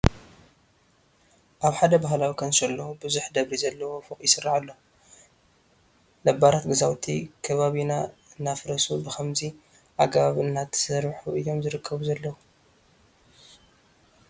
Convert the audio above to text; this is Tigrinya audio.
ኣብ ሓደ ባህላዊ ካንሸሎ ብዙሕ ደብሪ ዘለዎ ፎቕ ይስራሕ ኣሎ፡፡ ነባራት ገዛውቲ ከባቢና እናፈረሱ ብኸምዚ ኣገባብ እናተሰርሑ እዮም ዝርከቡ ዘለዉ፡፡